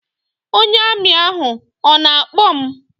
Ọnye Armi ahụ ọ na-akpọ m?